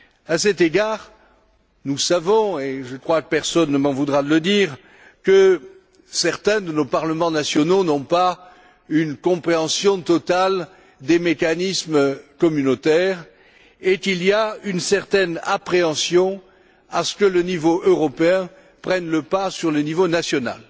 À cet égard, nous savons et je crois que personne ne m'en voudra de le dire que certains de nos parlements nationaux n'ont pas une compréhension totale des mécanismes communautaires et qu'une certaine appréhension règne de voir le niveau européen prendre le pas sur le niveau national.